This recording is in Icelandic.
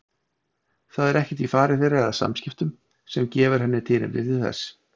Það er ekkert í fari þeirra eða samskiptum sem gefur henni tilefni til þess.